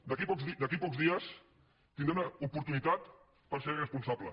d’aquí a pocs dies tindrà una oportunitat per ser responsable